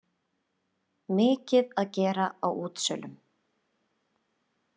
Mikið að gera á útsölum